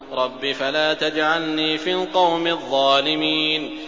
رَبِّ فَلَا تَجْعَلْنِي فِي الْقَوْمِ الظَّالِمِينَ